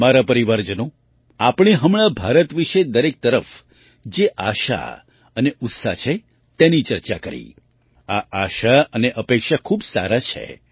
મારા પરિવારજનો આપણે હમણાં ભારત વિશે દરેક તરફ જે આશા અને ઉત્સાહ છે તેની ચર્ચા કરી આ આશા અને અપેક્ષા ખૂબ સારાં છે